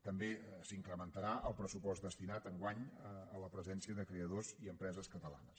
també s’incrementarà el pressupost destinat enguany a la presència creadors i empreses catalanes